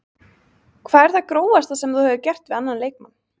Hvað er það grófasta sem þú hefur gert við annan leikmann?